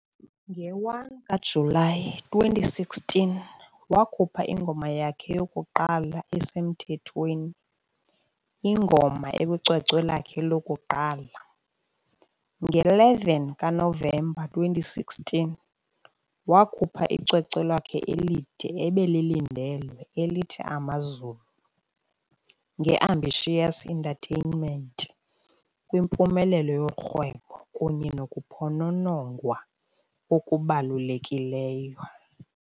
Nge-1 kaJulayi 2016, wakhupha ingoma yakhe yokuqala esemthethweni, ""- ingoma ekwicwecwe lakhe lokuqala, ". Nge-11 kaNovemba ka-2016, wakhupha icwecwe lakhe elide "ebelilindelwe elithi Amazulu" nge-Ambitious Entertainment kwimpumelelo yorhwebo kunye nokuphononongwa okubalulekileyo.